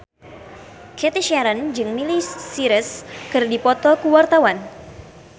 Cathy Sharon jeung Miley Cyrus keur dipoto ku wartawan